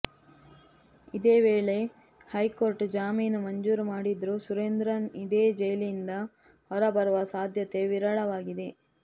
ಇದೇ ವೇಳ ಹೈಕೋರ್ಟ್ ಜಾಮೀನು ಮಂಜೂರು ಮಾಡಿದರೂ ಸುರೇಂದ್ರನ್ ಇಂದೇ ಜೈಲಿನಿಂದ ಹೊರಬರುವ ಸಾಧ್ಯತೆ ವಿರಳವಾಗಿದೆ